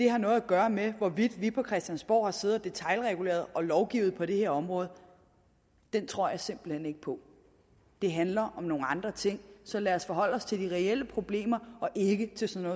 har noget at gøre med hvorvidt vi på christiansborg har siddet og detailreguleret og lovgivet på det her område tror jeg simpelt hen ikke på det handler om nogle andre ting så lad os forholde os til de reelle problemer og ikke til sådan